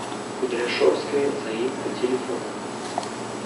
кудряшовская заимка телефон